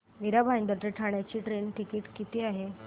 मीरा भाईंदर ते ठाणे चे train ticket किती आहे